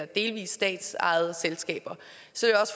delvis statsejede selskaber